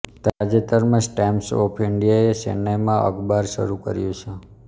તાજેતરમાં જ Times of ઈન્ડિયાએ ચેન્નઈમાં અખબાર શરૂ કર્યું છે